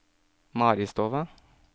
Maristova